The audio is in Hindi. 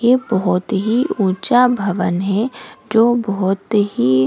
ये बहुत ही ऊंचा भवन है जो बहुत ही --